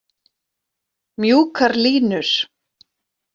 Mjúkar línur.